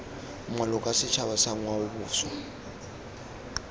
maloko a setšhaba sa ngwaoboswa